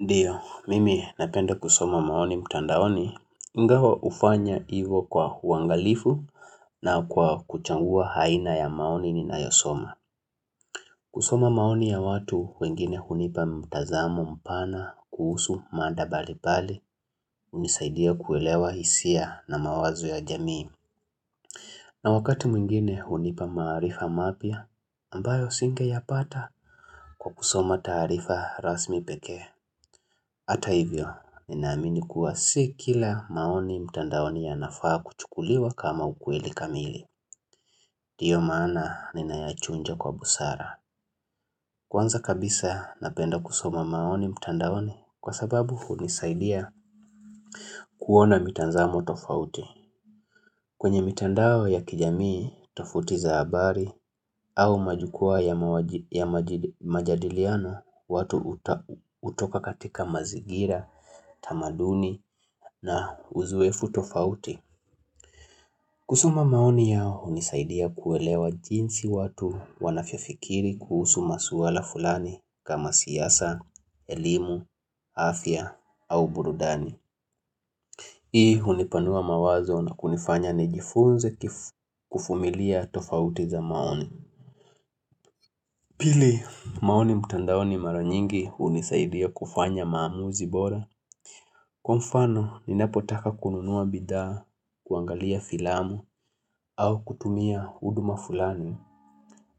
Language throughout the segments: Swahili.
Ndiyo, mimi napenda kusoma maoni mtandaoni, ingawa hufanya hivo kwa huangalifu na kwa kuchagua haina ya maoni ninayosoma. Kusoma maoni ya watu wengine hunipa mtazamo mpana kuhusu mandabali pale, unisaidia kuelewa hisia na mawazo ya jamii. Na wakati mwingine hunipa maarifa mapia, ambayo singe yapata kwa kusoma taarifa rasmi pekee. Hata hivyo, ninaamini kuwa si kila maoni mtandaoni yanafaa kuchukuliwa kama ukweli kamili. Hiyo maana ninayachunja kwa busara. Kwanza kabisa napenda kusoma maoni mtandaoni kwa sababu hunisaidia kuona mitazamo tofauti. Kwenye mitandao ya kijamii tofauti za habari au majukua ya majadiliano, watu hutoka katika mazingira, tamaduni na uzuefu tofauti. Kusoma maoni yao unisaidia kuelewa jinsi watu wanavyofikiri kuhusu maswala fulani kama siasa, elimu, afya au burudani. Hii hunipanua mawazo na kunifanya nijifunze kuvumilia tofauti za maoni. Pili, maoni mtandaoni mara nyingi hunisaidia kufanya maamuzi bora. Kwa mfano, ninapotaka kununua bidhaa, kuangalia filamu, au kutumia huduma fulani.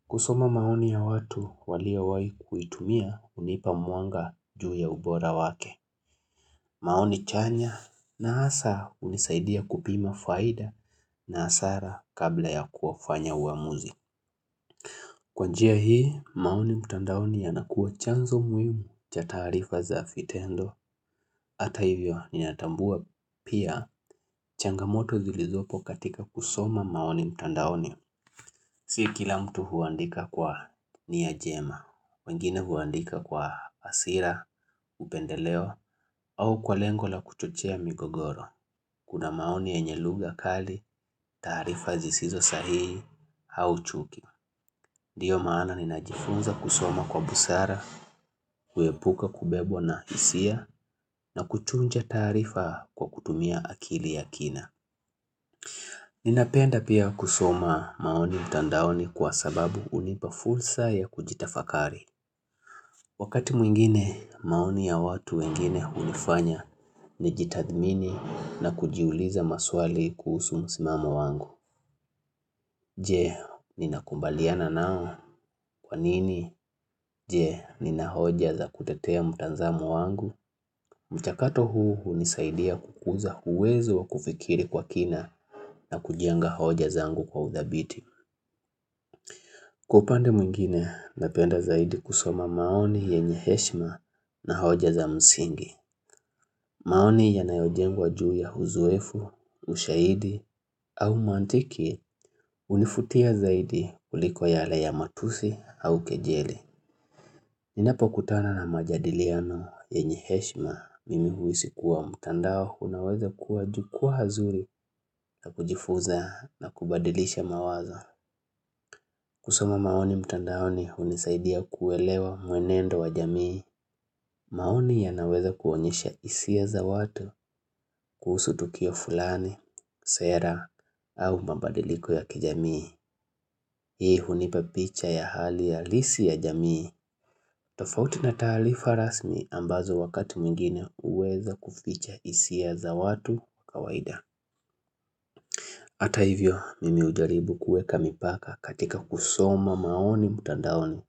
Kusoma maoni ya watu waliowahi kuitumia hunipa mwanga juu ya ubora wake. Maoni chanya na hasa hunisaidia kupima faida na hasara kabla ya kufanya uamuzi. Kwanjia hii, maoni mtandaoni yanakuwa chanzo muhimu cha taarifa za vitendo. Kusoma maoni yao hunisaidia kuelewa jinsi watu wanavyofikiri kuhusu maswala fulani kama siyasa, elimu, afya au burudani. Si kila mtu huandika kwa nia njema, wengine huandika kwa hasira, hupendelewa au kwa lengo la kuchochea migogoro. Kuna maoni yenye lugha kali, taarifa zisizosahihi au chuki. Ndio maana ninajifunza kusoma kwa busara, kuepuka kubebwa na hisia na kuchunja taarifa kwa kutumia akili ya kina. Ninapenda pia kusoma maoni mtandaoni kwa sababu hunipa fursa ya kujitafakari. Wakati mwingine maoni ya watu wengine hunifanya nijitadhmini na kujiuliza maswali kuhusu msimamo wangu. Je, ninakumbaliana nao kwa nini? Je, nina hoja za kutetea mtazamowangu? Mchakato huu hunisaidia kukuza uwezo wa kufikiri kwa kina na kujenga hoja zangu kwa uthabiti. Kwa upande mwingine, napenda zaidi kusoma maoni yenye heshima na hoja za msingi. Maoni yanayojengwa juu ya uzoefu, ushahidi au mantiki hunivutia zaidi kuliko yale ya matusi au kejeli. Ninapokutana na majadiliano yenye heshima, mimi huhisi kuwa mtandao unaweza kuwa jukwa nzuri na kujifunza na kubadilisha mawazo. Kusoma maoni mtandaoni hunisaidia kuelewa mwenendo wa jamii. Maoni yanaweza kuonyesha hisia za watu kuhusu the ukio fulani, sera, au mambadiliko ya kijamii. Hii hunipa picha ya hali halisi ya jamii. Tofauti na taarifa rasmi ambazo wakati mwingine huweza kuficha hisia za watu kawaida. Hata hivyo mimi hujaribu kueka mipaka katika kusoma maoni mtandaoni.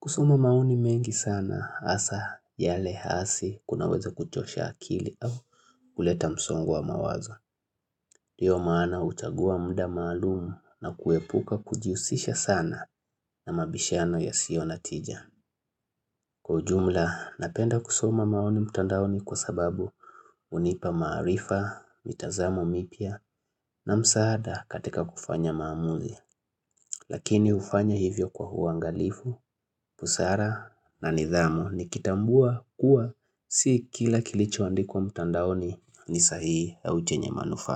Kusoma maoni mengi sana hasa yale hasi kunaweze kuchosha akili au kuleta msongo wa mawazo. Ndio maana huchagua mda maalum na kuepuka kujihusisha sana na mabishano yasiyonatija. Kwa ujumla napenda kusima maoni mtandaoni kwa sababu hunipa maarifa, mitazamo mipya na msaada katika kufanya maamuzi. Lakini hufanya hivyo kwa uangalifu, busara na nidhamu nikitambua kuwa si kila kilichoandikwa mtandaoni ni sahihi au chenye manufa.